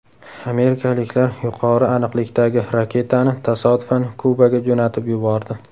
Amerikaliklar yuqori aniqlikdagi raketani tasodifan Kubaga jo‘natib yubordi.